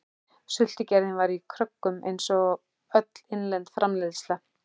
Sultugerðin var í kröggum einsog öll innlend framleiðsla.